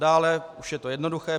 Dále už je to jednoduché.